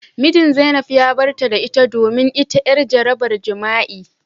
Mijin zainab ya barta da ita domin ita yar jarabar jima'i.